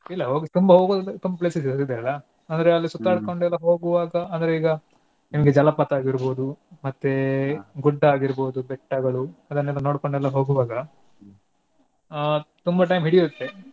ಇಲ್ಲಾ ಹೋಗ್~ ತುಂಬಾ ಹೋಗೋದೆಲ್ಲಾ ತುಂಬಾ place ಇದೆ ಇದೆ ಅಂದ್ರೆ ಅಲ್ ಸುತ್ತಾಡ್ಕೊಂಡು ಎಲ್ಲ ಹೋಗುವಾಗ ಅಂದ್ರೆ ಈಗ ನಿಮ್ಗೆ ಜಲಪಾತ ಆಗೀರ್ಬೋದು ಮತ್ತೆೇ ಗುಡ್ಡ ಆಗಿರ್ಬೋದು ಬೆಟ್ಟಗಳು ಅದನ್ನೆಲ್ಲಾ ನೋಡ್ಕೊಂಡೆಲ್ಲಾ ಹೋಗುವಾಗ ಅಹ್ ತುಂಬಾ time ಹಿಡಿಯುತ್ತೇ.